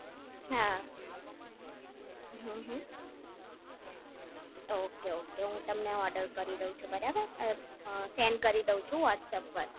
હા હમ્મ હમ્મ ઓકે ઓકે હું તમને ઓર્ડર કરી દવ છું બરાબર અ સેન્ડ કરી દવ છું વૉટ્સઅપ પર